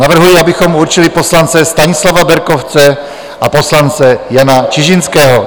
Navrhuji, abychom určili poslance Stanislava Berkovce a poslance Jana Čižinského.